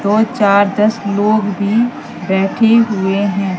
दो चार दस लोग भी बैठे हुए हैं।